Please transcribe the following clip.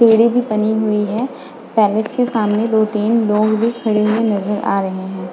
बनी हुई है पैलेस के सामने दो तीन लोग भी खड़े हुए नज़र आ रहे हैं।